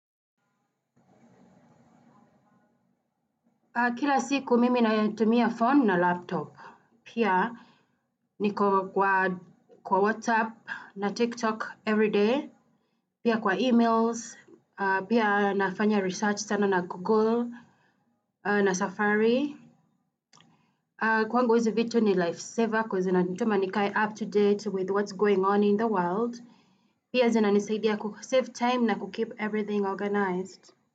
Kila siku mimi nayatumia phone na laptop. Pia niko kwa WhatsApp na TikTok everyday. Pia kwa emails. Pia nafanya research sana na Google na Safari. Kwangu hizi vitu ni lifesaver kwa sababu zinanituma nikae up to date with what's going on in the world. Pia zinanisaidia kusave time na kukeep everything organized.